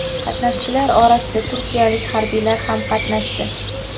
Qatnashchilar orasida turkiyalik harbiylar ham qatnashdi.